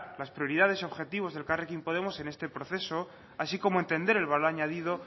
las prioridades y objetivos del elkarrekin podemos en este proceso así como entender el valor añadido